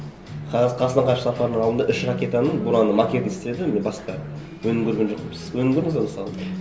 қазақстан ғарыш сапарының алдында үш ракетаның буранның макетін істеді мен басқа өнім көрген жоқпын сіз өнім көрдіңіз бе мысалы